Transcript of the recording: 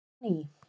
Og enn á ný.